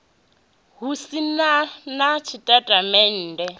hu si na na tshitatamennde